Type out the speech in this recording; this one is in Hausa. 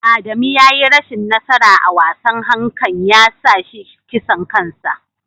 Adamu ya yi rashin nasara a wasan hankan ya sa shi kisan kansa.